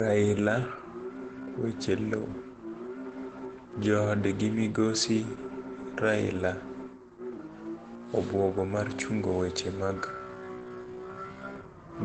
Raila, weche lowo, jood gi migosi Raila, obwogo mar chungo weche mag